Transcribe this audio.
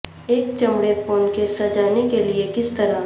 ایک چمڑے phone case سجانے کے لئے کس طرح